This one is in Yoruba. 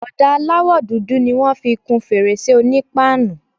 Ọ̀dà aláwọ̀ dúdú ni wọ́n fi kun fèrèsé onípáànù.